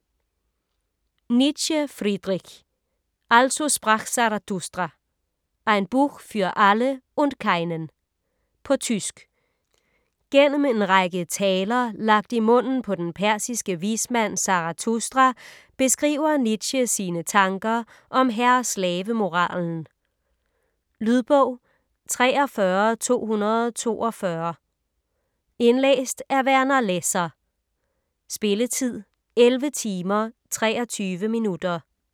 Nietzsche, Friedrich: Also sprach Zarathustra: ein Buch für alle und keinen På tysk. Gennem en række "taler", lagt i munden på den persiske vismand Zarathustra, beskriver Nietzsche sine tanker om herre-slavemoralen. Lydbog 43242 Indlæst af Werner Lässer. Spilletid: 11 timer, 23 minutter.